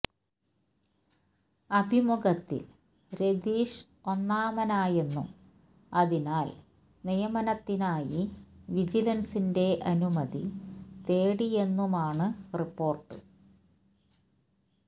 അഭിമുഖത്തിൽ രതീഷ് ഒന്നാമനായെന്നും അതിനാല് നിയമനത്തിനായി വിജിലന്സിന്റെ അനുമതി തേടിയെന്നുമാണ് റിപ്പോര്ട്ട്